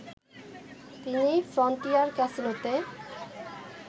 তিনি ফ্রনটিয়ার ক্যাসিনোতে